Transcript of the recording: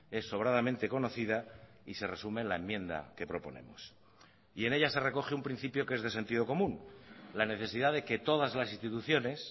es sobradamente conocida y se resume en la enmienda que proponemos y en ella se recoge un principio que es de sentido común la necesidad de que todas las instituciones